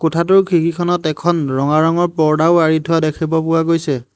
কোঠাটোৰ খিৰিকীখনত এখন ৰঙা ৰঙৰ পৰ্দাও আঁৰি থোৱা দেখিব পোৱা গৈছে।